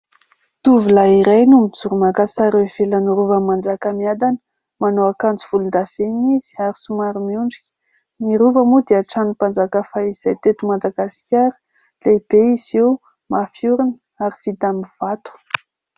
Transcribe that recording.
Tovolahy iray no mijoro maka sary eo ivelan'ny rova'i Manjakamiadana, manao akanjo volondavenoona izy ary somary miondrika, ny rova moa dia tranonim-panjaka fahizay teto Mdagasikara, lehibe izy io, mafiorina ary vita amin'ny vato.